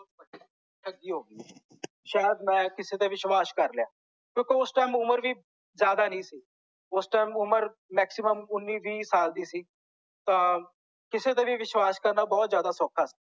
ਠੱਗੀ ਹੋ ਗਈ ਸ਼ਾਇਦ ਮੈਂ ਕਿਸੇ ਤੇ ਵਿਸ਼ਵਾਸ ਕਰ ਲਿਆ ਕਿਂਓਕੀ ਓਸ ਟਾਈਮ ਉਮਰ ਵੀ ਜਿਆਦਾ ਨਹੀਂ ਸੀ ਓਸ ਟਾਈਮ ਉਮਰ maximum ਉੰਨੀ ਵੀਹ ਸਾਲ ਦੀ ਸੀ ਤਾਂ ਕਿਸੇ ਤੇ ਵੀ ਵਿਸ਼ਵਾਸ ਕਰਨਾ ਬਹੁਤ ਜਿਆਦਾ ਸੌਖਾ ਸੀ